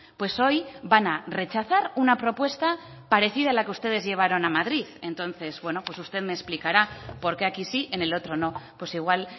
pues hoy van a rechazar una propuesta parecida a la que ustedes llevaron a madrid entonces bueno pues usted me explicará por qué aquí sí en el otro no pues igual